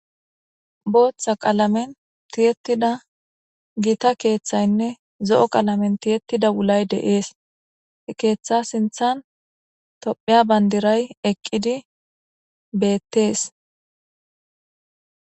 Booththa qalamen tiyettida gita keeththaynne zo7o qalamen tiyettida wulay deees he keeththa sinthan tophiya bandiray eqqidi beettees